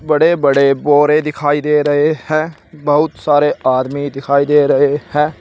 बड़े बड़े बोरे दिखाई दे रहे हैं बहुत सारे आदमी दिखाई दे रहे हैं।